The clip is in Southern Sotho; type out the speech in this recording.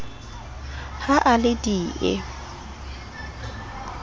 ha a le d e